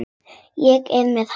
Ég er með hann.